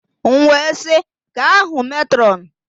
M wee sị, gaa hụ mètrọn!